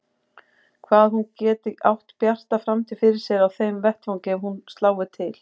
Hvað hún geti átt bjarta framtíð fyrir sér á þeim vettvangi ef hún slái til.